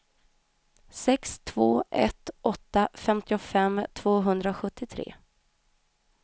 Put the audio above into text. sex två ett åtta femtiofem tvåhundrasjuttiotre